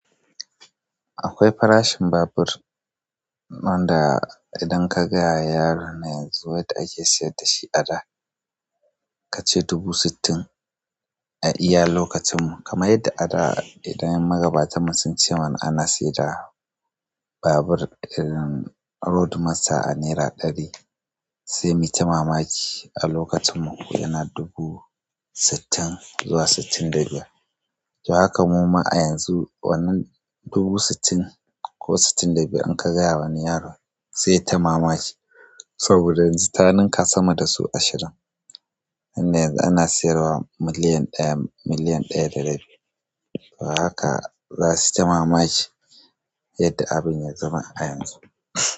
Akwai farashin babur nan da idan ka gaya wa yaro na yanzu yadda ake sayar da shi a da kace dubu sittin a iyalin lokacin mu, kamar yadda a da idan magabatanmu sun ce mana ana sayar da babur irin Road Master a naira ɗari sai mu yi ta mamaki a lokacin mu yana dubu sittin zuwa sittin da biyar. To haka muma a yanzu wannan dubu sittin ko sittin da biyar idan ka gaya wa wani yaro zai yi ta mamaki saboda yanzu ta nenka sama da sau ashirin. Nan da yanzu ana sayar wa miliyan ɗaya, miliyan ɗaya da rabi. To haka zasuji mamaki yadda abin ya zama a yanzu.